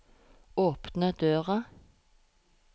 åpne døra